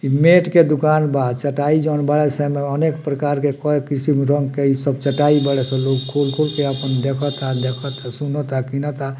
इ मैट के दुकान बा चटाई जॉन बड़ा समाअनेक प्रकार के कए किस्म रंग के इ सब चटाई बाड़े से लोग खोल खोल के अपन देखता देखता सुनाता किनाता।